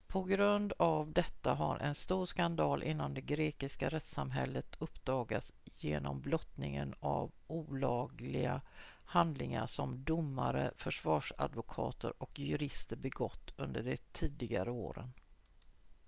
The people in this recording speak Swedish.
på grund av detta har en stor skandal inom det grekiska rättssamhället uppdagats genom blottningen av olagliga handlingar som domare försvarsadvokater och jurister begått under de tidigare åren